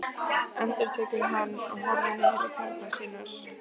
endurtekur hann og horfir niður á tærnar á sér.